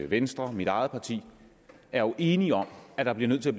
venstre og mit eget parti er enige om at man bliver nødt til